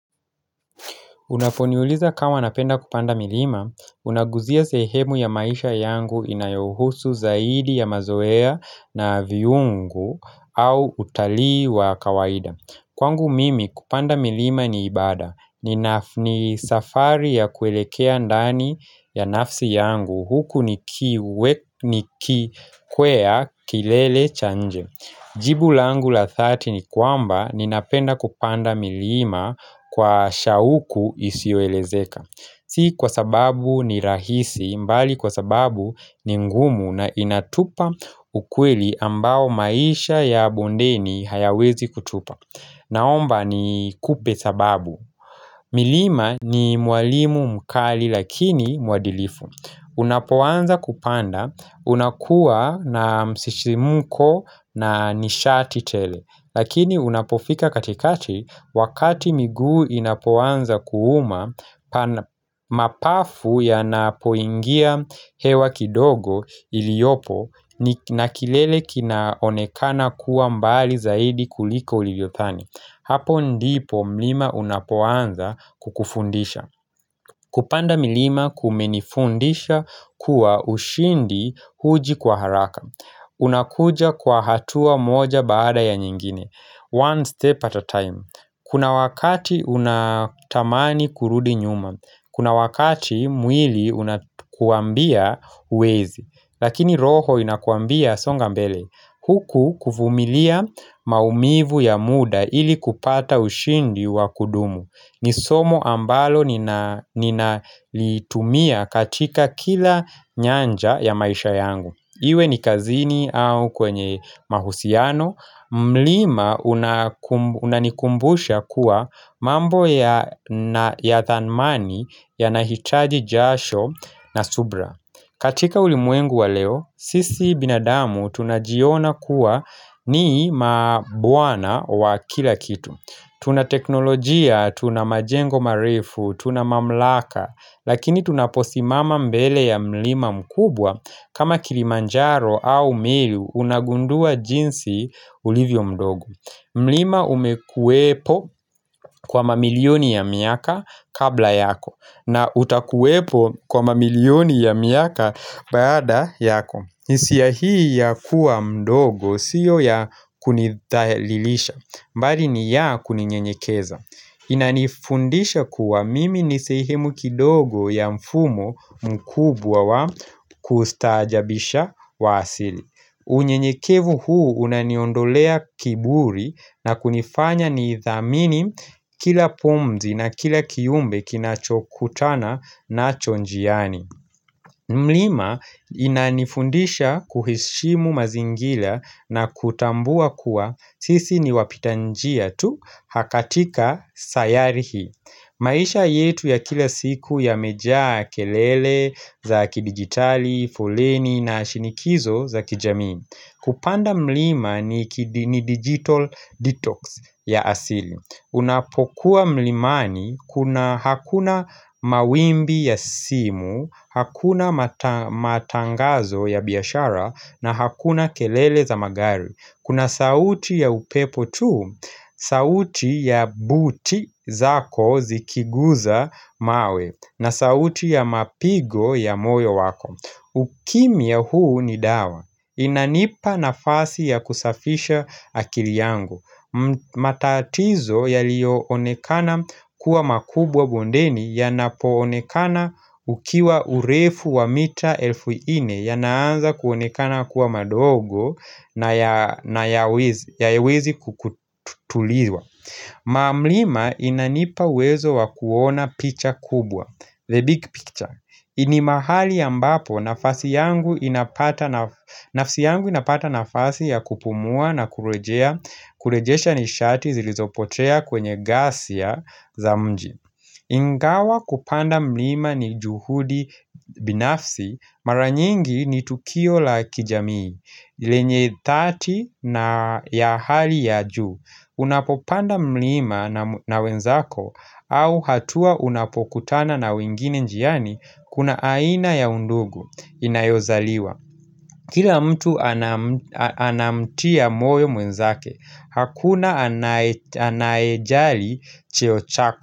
Unaponiuliza kama napenda kupanda milima, unaguzia sehemu ya maisha yangu inayohusu zaidi ya mazoea na viungu au utalii wa kawaida. Kwangu mimi kupanda milima ni ibada, ni safari ya kuelekea ndani ya nafsi yangu, huku nikikwea kilele cha nje. Jibu langu la 30 kwamba ni napenda kupanda milima kwa shauku isio elezeka. Si kwa sababu ni rahisi mbali kwa sababu ni ngumu na inatupa ukweli ambao maisha ya bondeni hayawezi kutupa. Naomba nikupe sababu. Milima ni mwalimu mkali lakini mwadilifu. Unapowanza kupanda unakuwa na msisimuko na nishati tele Lakini unapofika katikati wakati miguu inapowanza kuuma mapafu ya napoingia hewa kidogo iliopo na kilele kinaonekana kuwa mbali zaidi kuliko ulivyothani Hapo ndipo milima unapowanza kukufundisha Kupanda milima kumenifundisha kuwa ushindi huji kwa haraka unakuja kwa hatua moja baada ya nyingine One step at a time Kuna wakati unatamani kurudi nyuma Kuna wakati mwili unakuambia uwezi Lakini roho unakuambia songa mbele Huku kuvumilia maumivu ya muda ili kupata ushindi wa kudumu ni somo ambalo nina litumia katika kila nyanja ya maisha yangu Iwe ni kazini au kwenye mahusiano mlima unanikumbusha kuwa mambo ya thanmani yanahitaji jasho na subra katika ulimwengu wa leo, sisi binadamu tunajiona kuwa ni mabwana wa kila kitu Tuna teknolojia, tuna majengo marefu, tuna mamlaka Lakini tunaposimama mbele ya mlima mkubwa kama kilimanjaro au milu unagundua jinsi ulivyo mdogo mlima umekuwepo kwa mamilioni ya miaka kabla yako na utakuwepo kwa mamilioni ya miaka baada yako hisia hii ya kuwa mdogo siyo ya kunidhalilisha mbali ni ya kuninyenyekeza. Inanifundisha kuwa mimi ni sehemu kidogo ya mfumo mkubwa wa kustaajabisha wa asili. Unyenyekevu huu unaniondolea kiburi na kunifanya ni idhamini kila pumzi na kila kiumbe kinachokutana nacho njiani. Mlima inanifundisha kuheshimu mazingila na kutambua kuwa sisi ni wapita njia tu katika sayari hii maisha yetu ya kila siku yamejaa kelele za kidigitali, foleni na shinikizo za kijamii Kupanda mlima ni digital detox ya asili Unapokuwa mlimani, kuna hakuna mawimbi ya simu, hakuna matangazo ya biashara na hakuna kelele za magari Kuna sauti ya upepo tu, sauti ya buti zako zikiguza mawe na sauti ya mapigo ya moyo wako Ukimiya huu ni dawa, inanipa nafasi ya kusafisha akili yangu matatizo yaliyo onekana kuwa makubwa bondeni yanapo onekana ukiwa urefu wa mita elfu nne Yanaanza kuonekana kuwa madogo na yawezi kukutuliwa Mamlima inanipa uwezo wa kuona picha kubwa The big picture Ini mahali ambapo nafsi yangu inapata nafasi ya kupumua na kurejea Kulejesha nishati zilizopotea kwenye gasia za mji Ingawa kupanda mlima ni juhudi binafsi Maranyingi ni tukio la kijamii lenye 30 na ya hali ya ju Unapopanda mlima na wenzako au hatua unapokutana na wengine njiani Kuna aina ya undugu inayozaliwa Kila mtu anamtia moyo mwenzake Hakuna anaejali cheo chako.